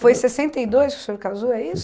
Foi sessenta e dois que o senhor casou, é isso?